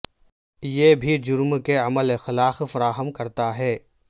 یہ بھی جرم کے عمل اخلاق فراہم کرتا ہے